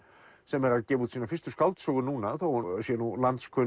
sem er að gefa út sína fyrstu skáldsögu núna þó hún sé nú